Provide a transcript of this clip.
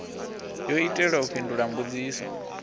yo itelwa u fhindula mbudziso